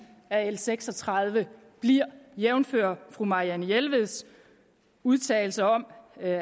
af l seks og tredive bliver jævnfør fru marianne jelveds udtalelser om at